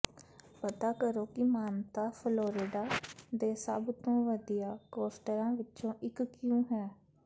ਪਤਾ ਕਰੋ ਕਿ ਮਾਨਤਾ ਫਲੋਰਿਡਾ ਦੇ ਸਭ ਤੋਂ ਵਧੀਆ ਕੋਸਟਰਾਂ ਵਿੱਚੋਂ ਇੱਕ ਕਿਉਂ ਹੈ